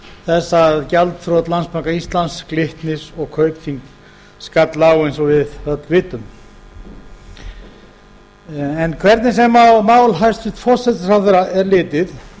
þess að gjaldþrot landsbanka íslands glitnis og kaupþings skall á eins og við öll vitum en hvernig sem á mál hæstvirtur forsætisráðherra er litið